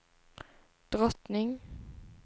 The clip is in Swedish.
drottning